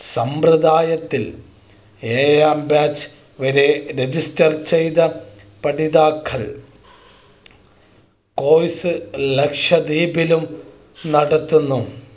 സമ്പ്രദായത്തിൽ ഏഴാം Batch വരെ Register ചെയ്ത പഠിതാക്കൾ Course ലക്ഷ്വദ്വീപിലും നടത്തുന്നു